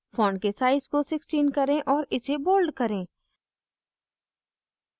font के size को 16 करें और इसे bold करें